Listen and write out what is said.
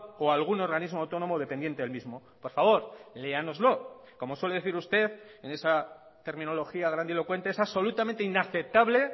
o a algún organismo autónomo dependiente del mismo por favor léanoslo como suele decir usted en esa terminología grandilocuente es absolutamente inaceptable